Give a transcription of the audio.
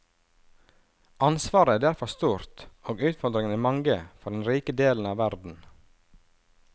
Ansvaret er derfor stort og utfordringene mange for den rike delen av verden.